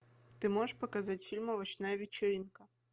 ты можешь показать фильм овощная вечеринка